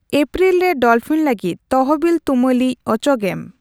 April ᱨᱮ dolphin ᱞᱟᱜᱤᱫ ᱛᱚᱦᱚᱵᱤᱞ ᱛᱩᱢᱟᱹᱞᱤᱡ ᱚᱪᱚᱜᱮᱢ ᱾